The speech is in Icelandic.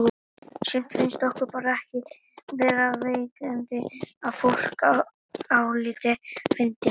Sumt finnst okkur bara ekki vera viðeigandi að fólk álíti fyndið.